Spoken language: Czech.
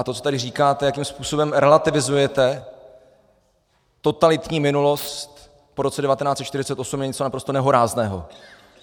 A to, co tady říkáte, jakým způsobem relativizujete totalitní minulost po roce 1948, je něco naprosto nehorázného.